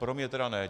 Pro mě tedy ne.